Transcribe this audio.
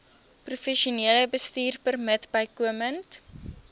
professionele bestuurpermit bykomend